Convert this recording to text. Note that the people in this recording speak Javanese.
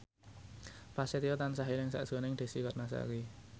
Prasetyo tansah eling sakjroning Desy Ratnasari